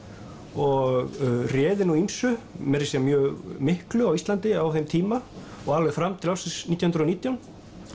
og réði nú ýmsu meira að segja mjög miklu á Íslandi á þeim tíma og alveg fram til ársins nítján hundruð og nítján